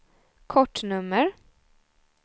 kortnummer